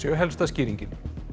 helsta skýringin